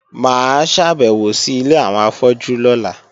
Mà á ṣàbẹ̀wò sí ilé àwọn afọ́jú lọ́la